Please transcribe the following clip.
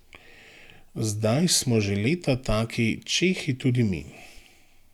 Zdaj smo že leta taki čehi tudi mi.